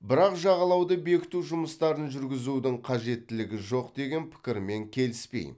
бірақ жағалауды бекіту жұмыстарын жүргізудің қажеттілігі жоқ деген пікірмен келіспеймін